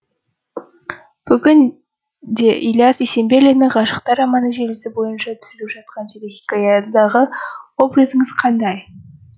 бүгін де ілияс есенберлиннің ғашықтар романы желісі бойынша түсіріліп жатқан телехикаядағы образыңыз қандай